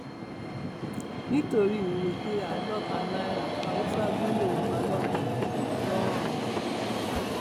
nítorí ìrèké àádọta náírà haúsá gún yorùbá lọbẹ ńlọrọìn